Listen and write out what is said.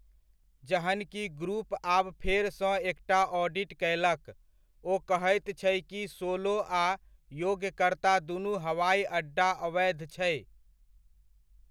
जहन कि ग्रुप आब फेरसँ एकटा ऑडिट कयलक, ओ कहैत छै कि सोलो आ योग्यकर्ता दुनू हवाइ अड्डा अवैध छै।